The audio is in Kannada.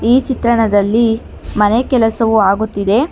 ಈ ಚಿತ್ರಣದಲ್ಲಿ ಮನೆ ಕಲಸವು ಆಗಿತ್ತಿದೆ.